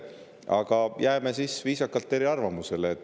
Aga jääme siis viisakalt eri arvamustele.